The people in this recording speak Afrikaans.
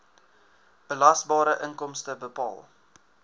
belasbare inkomste bepaal